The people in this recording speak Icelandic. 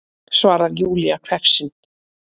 svarar Júlía hvefsin.